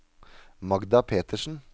Magda Petersen